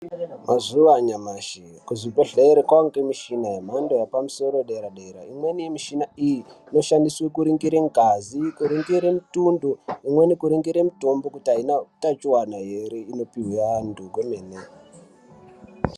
Mazuwanyashi kuzvibhedhlera kwange mishina yemhando yepamusoro yedera dera imweni mishina iyi inoshandiswe kuringire ngazi, kuringire mitundo imweni kuringire mitombo kuti Haina utachiwana here inopihwe antu kwemene.